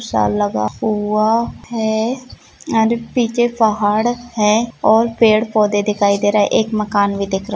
लगा हुआ है और पीछे पहाड़ है और पेड़ पौधे दिखाई दे रहे है एक मकान भी दिख रहा है।